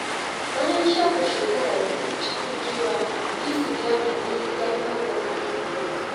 Bayan shafe shekara biyu cikin kewa, Yusuf ya nemi gafarar mahaifiyarsa.